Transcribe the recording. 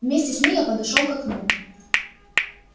вместе с ней я подошёл к окну